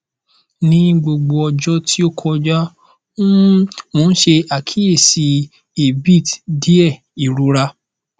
ni gbogbo ọjọ ti o kọja um mo ṣe akiyesi abit diẹ irora